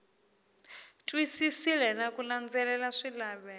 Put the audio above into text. twisisile na ku landzelela swilaveko